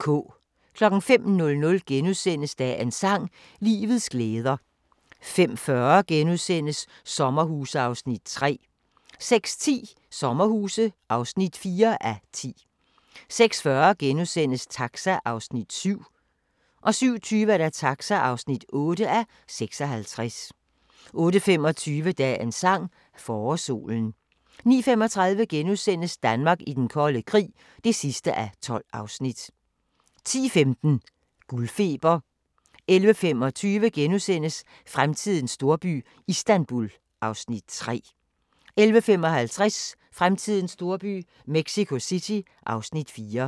05:00: Dagens sang: Livets glæder * 05:40: Sommerhuse (3:10)* 06:10: Sommerhuse (4:10) 06:40: Taxa (7:56)* 07:20: Taxa (8:56) 08:25: Dagens sang: Forårssolen 09:35: Danmark i den kolde krig (12:12)* 10:15: Guldfeber 11:25: Fremtidens storby – Istanbul (Afs. 3)* 11:55: Fremtidens storby – Mexico City (Afs. 4)